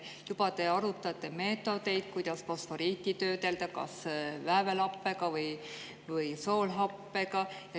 Juba te arutate meetodeid, kuidas fosforiiti töödelda – kas väävelhappega või soolhappega.